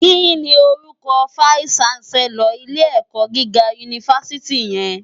Kini órúkò fáìsí ṣánsèlòr ilé èkò gigá unifásìtí yèn?